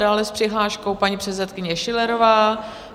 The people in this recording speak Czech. Dále s přihláškou paní předsedkyně Schillerová.